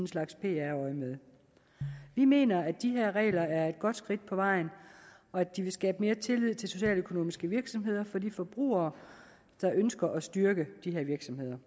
slags pr øjemed vi mener at de her regler er et godt skridt på vejen og at de vil skabe mere tillid til socialøkonomiske virksomheder for de forbrugere der ønsker at styrke de her virksomheder